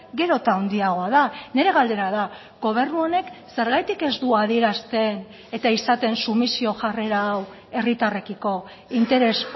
gero eta handiagoa da nire galdera da gobernu honek zergatik ez du adierazten eta izaten sumisio jarrera hau herritarrekiko interes